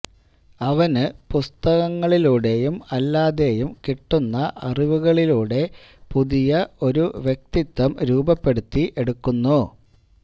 അവന് പുസ്തങ്ങളിലൂടെയും അല്ലാതെയും കിട്ടുന്ന അറിവുകളിലൂടെ പുതിയ ഒരു വ്യക്തിത്വം രൂപപ്പെടുത്തി എടുക്കുന്നു